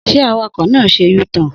Sẹ àwàkọ nà sẹ ú– tọn